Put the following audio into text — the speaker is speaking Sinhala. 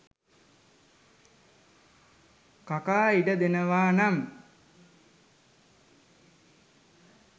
කකා ඉඩ දෙනවා නම්.